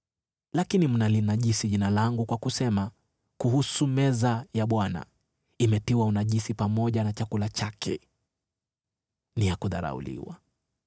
“Lakini mnalinajisi Jina langu kwa kusema kuhusu meza ya Bwana, ‘Imetiwa unajisi pamoja na chakula chake. Ni ya kudharauliwa.’